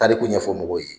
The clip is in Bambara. Tariku ɲɛfɔ mɔgɔw ye